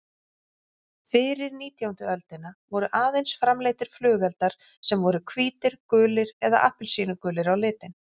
Fyrir nítjándu öldina voru aðeins framleiddir flugeldar sem voru hvítir, gulir eða appelsínugulir á litinn.